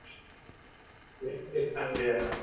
Reyndist hann vera